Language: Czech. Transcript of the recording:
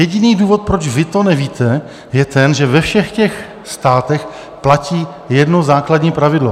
Jediný důvod, proč vy to nevíte, je ten, že ve všech těch státech platí jedno základní pravidlo.